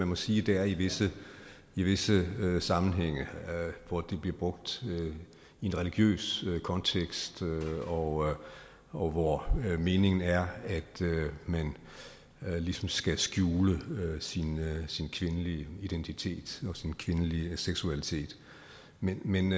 må sige det er i visse i visse sammenhænge hvor det bliver brugt i en religiøs kontekst og og hvor meningen er at man ligesom skal skjule sin sin kvindelige identitet og sin kvindelige seksualitet men